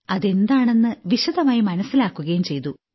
അതെന്താണെന്നു വിശദമായി മനസ്സിലാക്കുകയും ചെയ്തു